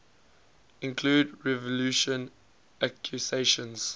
include revulsion accusations